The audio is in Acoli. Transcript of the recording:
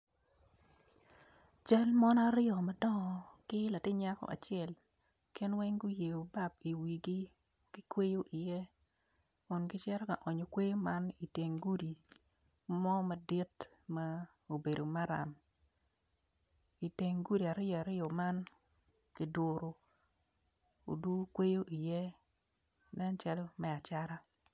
Cal mon aryo madongo ki latin nyako acel gin weng guyeyo bap i iwigi ki kweyo i iye kun gicito ka onyo kweyo man iteng gudi mo madit ma obedo maram iteng gudi aryo aryo man kiguru odu kweyo i iye nen calo me acata.